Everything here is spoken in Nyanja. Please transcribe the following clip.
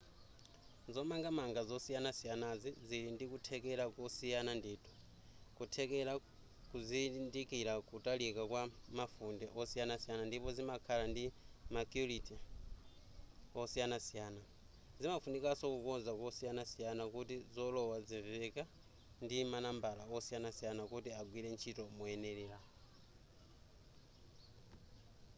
zomangamanga zosiyanasiyanazi zili ndikuthekera kosiyana ndithu kuthekera kuzindikira kutalika kwa mafunde osiyasiyana ndipo zimakhala ndi macuity osiyanasiyana zimafunikanso kukonza kosiyanasiyana kuti zolowa zimveka ndi manambala osiyanasiyana kuti agwire ntchito moyenera